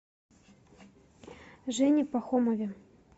жене пахомове